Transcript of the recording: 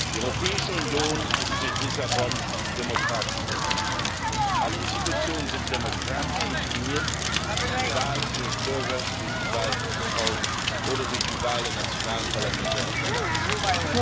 Die Europäische Union ist mit Lissabon demokratisch geworden. Alle Institutionen sind demokratisch legitimiert durch die Wahl des Bürgers, durch die Wahl dieses Hauses oder durch die Wahl der nationalen Parlamente auf der Ratsseite.